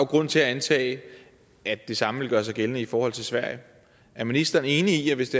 grund til at antage at det samme vil gøre sig gældende i forhold til sverige er ministeren enig i at hvis